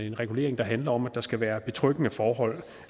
en regulering der handler om at der skal være betryggende forhold